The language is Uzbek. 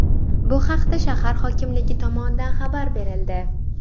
Bu haqda shahar hokimligi tomonidan xabar berildi .